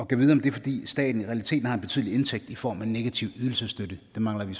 gad vide om det er fordi staten i realiteten har en betydelig indtægt i form af negativ ydelsesstøtte det mangler vi